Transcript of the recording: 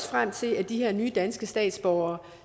frem til at de her nye danske statsborgere